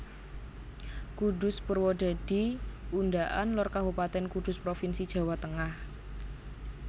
Kudus Purwodadi Undaan Lor Kabupatèn Kudus provinsi Jawa Tengah